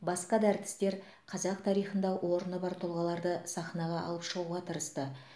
басқа да әртістер қазақ тарихында орны бар тұлғаларды сахнаға алып шығуға тырысты